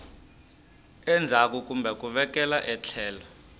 endzhaku kumbe ku vekela etlhelo